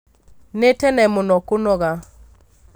Nĩ tene mũno kũnoga